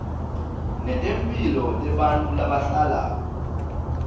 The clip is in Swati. netemphilo tebantfu labahlala